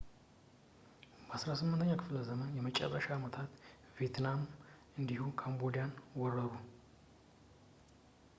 በ18ኛው ክፍለ ዘመን የመጨረሻ ዓመታት ቪየትናሞች እንዲሁ ካምቦዲያን ወረሩ